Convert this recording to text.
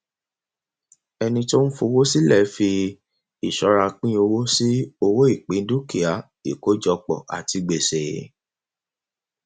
ẹni tó ń fowó sílẹ fi ìṣọra pín owó sí owó ìpín dúkìá ìkójọpọ àti gbèsè